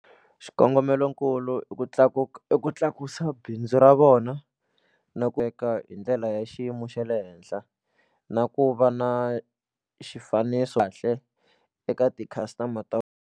Xikongomelokulu i ku tlakuka i ku tlakusa bindzu ra vona na ku veka hi ndlela ya xiyimo xa le henhla na ku va na xifaniso kahle eka ti-customer ta.